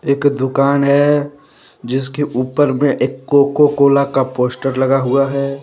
एक दुकान है जिसके ऊपर में एक कोको कोला का पोस्टर लगा हुआ है।